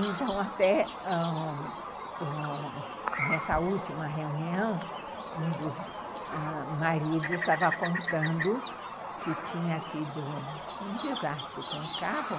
Então, até ãh nessa última reunião, um dos maridos estava contando que tinha tido um desastre com o carro,